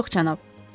Yox, cənab.